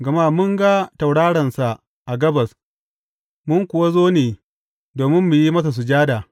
Gama mun ga tauraronsa a gabas mun kuwa zo ne domin mu yi masa sujada.